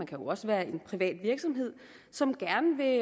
kan jo også være en privat virksomhed som gerne vil